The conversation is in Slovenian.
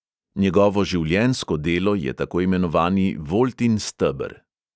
Njegovo življenjsko delo je tako imenovani voltin steber.